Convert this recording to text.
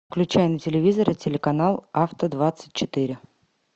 включай на телевизоре телеканал авто двадцать четыре